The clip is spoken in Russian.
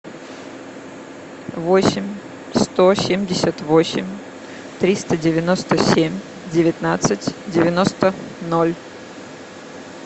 восемь сто семьдесят восемь триста девяносто семь девятнадцать девяносто ноль